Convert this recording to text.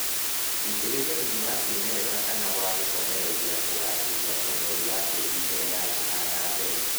Itĩrĩria thumu wa kĩmerera kana wa gũkomereria kugacĩria ũnoru wa tĩri mbere ya kũhanda mbegũ